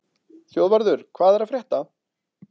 Þjóðvarður, hvað er að frétta?